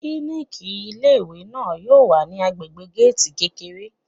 Klíníkì ilé ìwé náà wà ní agbègbè géètì kékeré.